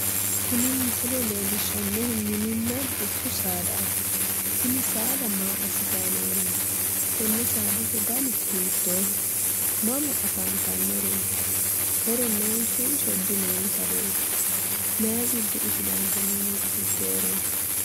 Tini misile leellishshannohu mininna dubbu saadaati. Tini saada maa assitayi nooreeti? Tenne saadate dani hiittooho? Mama afantannoreeti? Horo noonsanso dinoonsareeti? Mayi giddo usurante noowi fulteyoreeti?